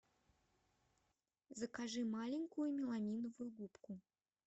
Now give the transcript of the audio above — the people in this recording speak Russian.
закажи маленькую меламиновую губку